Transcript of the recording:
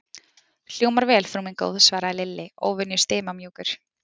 Hljómar vel, frú mín góð svaraði Lilli, óvenju stimamjúkur.